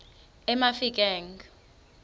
emafikeng